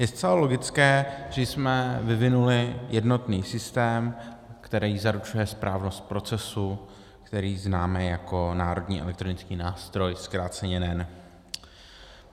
Je zcela logické, že jsme vyvinuli jednotný systém, který zaručuje správnost procesu, který známe jako Národní elektronický nástroj, zkráceně NEN.